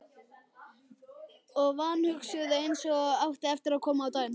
Og vanhugsuðu, eins og átti eftir að koma á daginn.